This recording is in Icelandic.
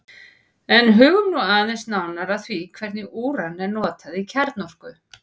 en hugum nú aðeins nánar að því hvernig úran er notað í kjarnorku